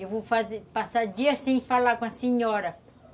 Eu vou passar dias sem falar com a senhora.